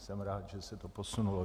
Jsem rád, že se to posunulo.